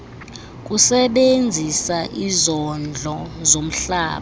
kusebenzisa izondlo zomhlaba